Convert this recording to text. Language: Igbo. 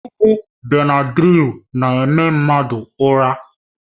Ọgwụ Benadrịl na-eme mmadụ ụra.